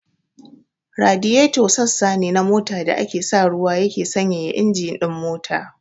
Radiyeto sassa ne na mota da ake sa ruwa yake sanyaya injin ɗin mota.